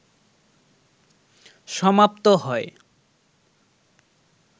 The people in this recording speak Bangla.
সমাপ্ত হয়